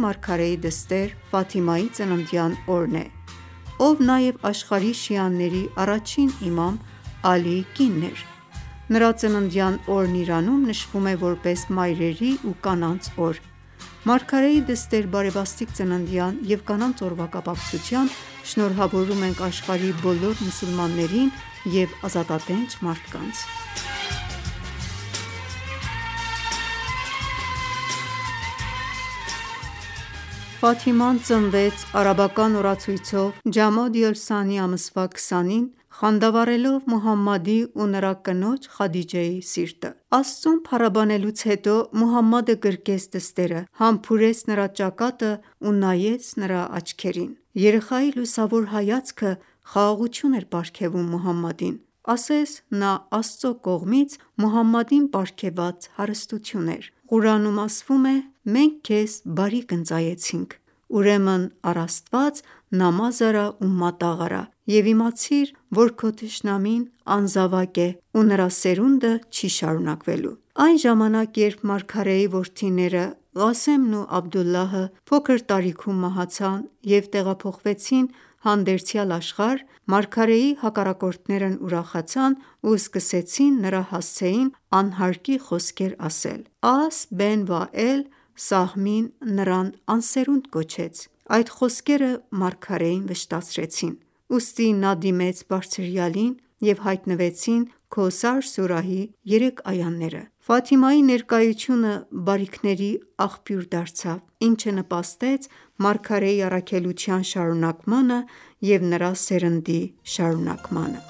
մարգարեի դստեր՝ Ֆաթիմայի ծննդյան օրն է, ով նաև աշխարհի շիաների առաջին իմամ՝ Ալիի կինն էր:Նրա ծննդյան օրն Իրանում նշվում է, որպես մայրերի ու կանանց օր։ Մարգարեի դստեր բարեբաստիկ ծննդյան և Կանանց օրվա կապակցությամբ շնորհավորում ենք աշխարհի բոլոր մուսուլմաններին և ազատատենչ մարդկանց։ Ֆաթիման ծնվեց արաբական օրացույցով ջամադի օլ-սանի ամսվա 20-ին, խանդավառելով Մուհամմադի ու նրա կնոջ՝ Խադիջեի սիրտը: Աստծուն փառաբանելուց հետո, Մուհամմադը գրկեց դստերը, համբուրեց նրա ճակատն ու նայեց նրա աչքերին: Երեխայի լուսավոր հայացքը խաղաղություն էր պարգևում Մուհամմադին, ասես նա Աստծու կողմից Մուհամմադին պարգևված հարստություն էր: Ղուրանում ասվում է. «Մենք քեզ բարիք ընծայեցինք: Ուրեմն առ Աստված նամազ արա ու մատաղ արա: Եվ իմացիր, որ քո թշնամին անզավակ է ու նրա սերունդը չի շարունակվելու»: Այն ժամանակ, երբ մարգարեի որդիները՝ Ղասեմն ու Աբդդուլլահը փոքր տարիքում մահացան և տեղափոխվեցին հանդերձյալ աշխարհ, մարգարեի հակառակորդներն ուրախացան ու սկսեցին նրա հասցեին անհարկի խոսքեր ասել: Աս Բեն Վաել Սահմին նրան անսերունդ կոչեց: Այդ խոսքերը մարգարեին վշտացրեցին, ուստի նա դիմեց Բարձրյալին, և հայտնվեցին Քոսար սուրահի երեք այաները: Ֆաթիմայի ներկայությունը բարիքների աղբյուր դարձավ, ինչը նպաստեց մարգարեի առաքելության շարունակմանը և նրա սերնդի շարունակմանը: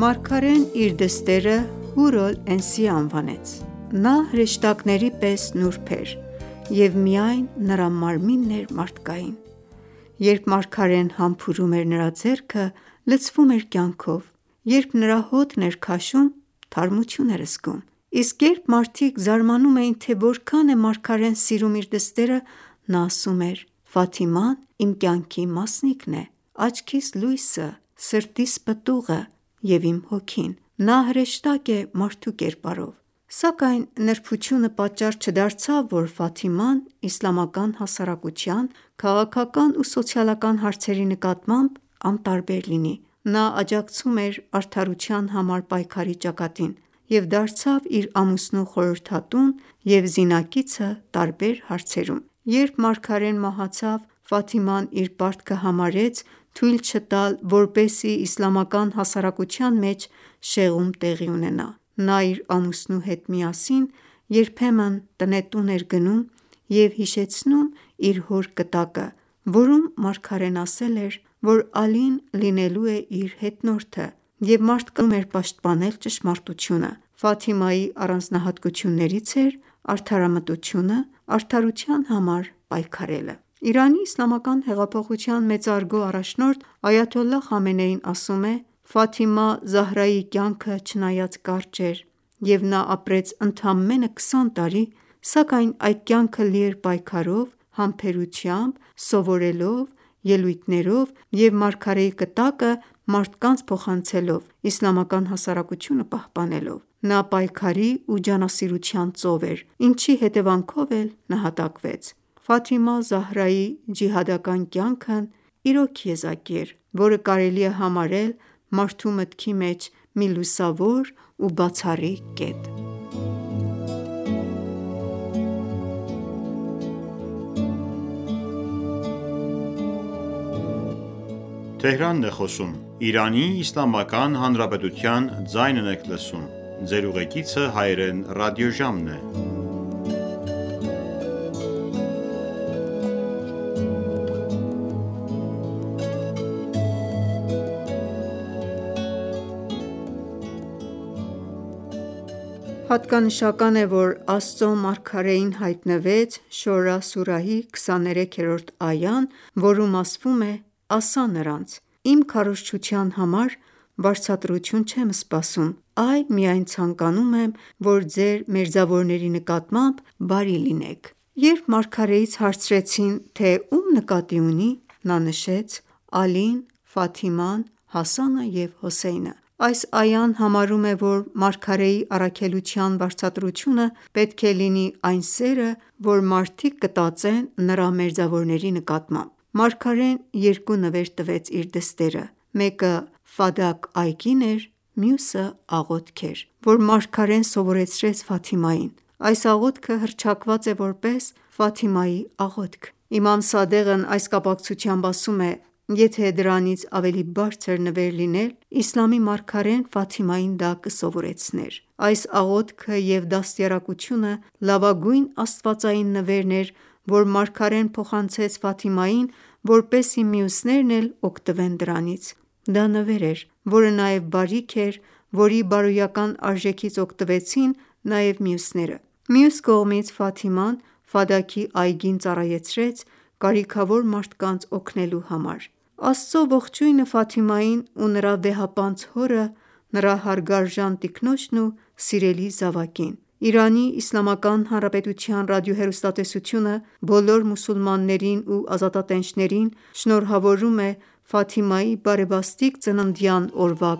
Մարգարեն իր դստերը՝ Հուր օլ Էնսիե անվանեց: Նա հրեշտակների պես նուրբ էր և միայն նրա մարմինն էր մարդկային: Երբ մարգարեն համբուրում էր նրա ձեռքը, լցվում էր կյանքով, երբ նրա հոտն էր քաշում, թարմություն էր զգում: Իսկ երբ մարդիկ զարմանում էին, թե որքան է մարգարեն սիրում իր դստերը, նա ասում էր, «Ֆաթիման իմ կյանքի մասնիկն է, աչքիս լույսը, սրտիս պտուղը, և իմ հոգին: Նա հրեշտակ է մարդու կերպարով»: Սակայն նրբությունը պատճառ չդարձավ, որ Ֆաթիման իսլամական հասարակության քաղաքական ու սոցիալական հարցերի նկատմամբ անտարբեր լիներ: Նա աջակցում էր արդարության համար պայքարի ճակատին և դարձավ իր ամուսնու խորհրդատուն և զինակիցը տարբեր հարցերում: Երբ մարգարեն մահացավ, Ֆաթիման իր պարտքը համարեց թույլ չտալ, որպեսզի իսլամական հասարակության մեջ շեղում տեղի ունենա: Նա իր ամուսնու հետ միասին երբեմն տնետուն էր գնում և հիշեցնում իր հոր կտակը, որում մարգարեն ասել էր, որ Ալին լինելու է իր հետնորդը և մարդկանց հրավիրում էր պաշտպանել ճշմարտությունը: առանձնահատկություններից էր արդարամտությունը, արդարության համար պայքարելը։ Իրանի իսլամական հեղափոխության մեծարգո առաջնորդ Այաթոլլահ Խամենեին ասում է. «Ֆաթիմա Զահրայի կյանքը չնայած կարճ էր և նա ապրեց ընդամենը 20 տարի, սակայն այդ կյանքը լի էր պայքարով, համբերությամբ, սովորելով, ելույթներով և մարգարեի կտակը մարդկանց փոխանցելով, իսլամական հասարակությունը պահպանելով: Նա պայքարի ու ջանասիրության ծով էր, ինչի հետևանքով էլ նահատակվեց: Ֆաթիմա Զահրայի ջիհադական կյանքն իրոք եզակի էր, որը կարելի է համարել մարդու մտքի մեջ մի լուսավոր ու բացառիկ կետ»: Հատկանշական է, որ Աստծու մարգարեին հայտնվեց Շորա սուրահի 23-րդ այան, որում ասվում է «Ասա՛ նրանց. «Իմ քարոզչության համար վարձատրություն չեմ սպասում, այլ միայն ցանկանում եմ, որ ձեր մերձավորների նկատմամբ բարի լինեք»: Երբ մարգարեից հարցրեցին, թե ում նկատի ունի, նա նշեց. «Ալին, Ֆաթիման, Հասանը և Հոսեյնը»: Այս այան համարում է, որ մարգարեի առաքելության վարձատրությունը պետք է լինի այն սերը, որ մարդիկ կտածեն նրա մերձավորների նկատմամբ: Մարգարեն երկու նվեր տվեց իր դստերը՝ մեկը Ֆադաք այգին էր, մյուսը՝ աղոթք էր, որ մարգարեն սովորեցրեց Ֆաթիմային: Այս աղոթքը հռչակված է որպես «Ֆաթիմայի աղոթք»: Իմամ Սադեղն այս կապակցությամբ ասում է. «Եթե դրանից ավելի բարձր նվեր լիներ, իսլամի մարգարեն Ֆաթիմային դա կսովորեցներ»: Այս աղոթքը և դաստիարակությունը լավագույն աստվածային նվերն էր, որ մարգարեն փոխանցեց Ֆաթիմային, որպեսզի մյուսներն էլ օգտվեն դրանից: Դա նվեր էր, որը նաև բարիք էր, որի բարոյական արժեքից օգտվեցին նաև մյուսները: Մյուս կողմից, Ֆաթիման Ֆադաքի այգին ծառայեցրեց կարիքավոր մարդկանց օգնելու համար: Աստծու ողջույնը Ֆաթիմային ու նրա վեհապանծ հորը, նրա հարգարժան տիկնոջն ու սիրելի զավակին: ԻԻՀ ռադիոհեռուստատեսությունը բոլոր մուսուլմաններին ու ազատատենչներին շնորհավորում է Ֆաթիմայի բարեբաստիկ ծննդյան օրվա